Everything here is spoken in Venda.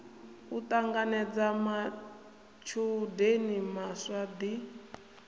u ṱanganedza matshudeni maswa ḓi